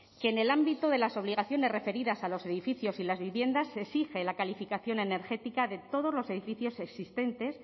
que en el ámbito de las obligaciones referidas a los edificios y las viviendas se exige la calificación energética de todos los edificios existentes